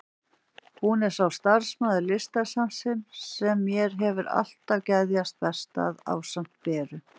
Hún er sá starfsmaður Listasafnsins sem mér hefur alltaf geðjast best að, ásamt Beru.